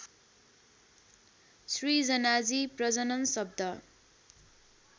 सृजनाजी प्रजनन शब्द